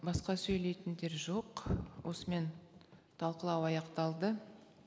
басқа сөйлейтіндер жоқ осымен талқылау аяқталды